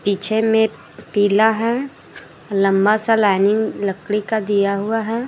पीछे में पीला है लंबा सा लाइनिंग लकड़ी का दिया हुआ है।